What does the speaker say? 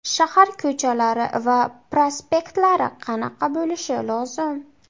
Shahar ko‘chalari va prospektlari qanaqa bo‘lishi lozim?